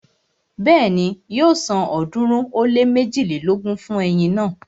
Bẹ́ẹ̀ni, yóò san ọ̀ọ́dúnrún ó lé méjilélógún fún eyin náà